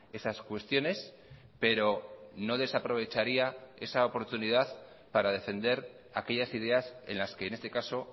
esas cuestiones pero no desaprovecharía esa oportunidad para defender aquellas ideas en las que en este caso